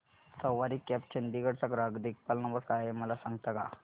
सवारी cabs Chandigarh चा ग्राहक देखभाल नंबर काय आहे मला सांगता का